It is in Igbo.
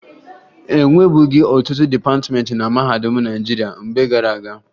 E nwebughi ọtụtụ dịpatịmeentị na mahadum Naịjirịa mgbe gara aga